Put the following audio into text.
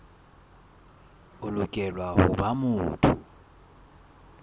o lokela ho ba motho